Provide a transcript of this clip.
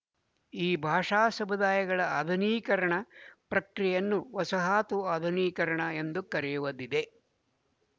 ಈ ಭಾಷಾ ಸಮುದಾಯಗಳ ಆಧುನೀಕರಣ ಪ್ರಕ್ರಿಯೆಯನ್ನು ವಸಾಹತು ಆಧುನೀಕರಣ ಎಂದು ಕರೆಯುವುದಿದೆ